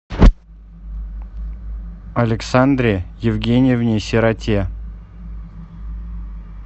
александре евгеньевне сироте